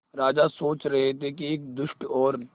राजा सोच रहे थे कि एक दुष्ट और